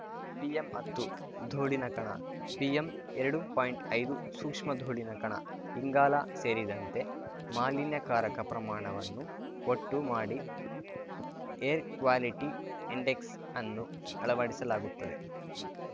ಪಿಎಂಹತ್ತು ಧೂಳಿನ ಕಣ ಪಿಎಂಎರಡು ಪಾಯಿಂಟ್ಐದು ಸೂಕ್ಷ್ಮ ಧೂಳಿನ ಕಣ ಇಂಗಾಲ ಸೇರಿದಂತೆ ಮಾಲಿನ್ಯಕಾರಕ ಪ್ರಮಾಣವನ್ನು ಒಟ್ಟು ಮಾಡಿ ಏರ್‌ ಕ್ವಾಲಿಟಿ ಇಂಡೆಕ್ಸ್‌ ಅನ್ನು ಅಳವಡಿಸಲಾಗುತ್ತದೆ